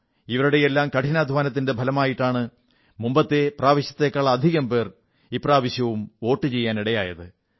ഇവരുടെയെല്ലാം കഠിനാധ്വാനത്തിന്റെ ഫലമായിട്ടാണ് മുൻ പ്രാവശ്യത്തെക്കാൾ അധികം പേർ ഇപ്രാവശ്യം വോട്ടു ചെയ്യാൻ ഇടയായത്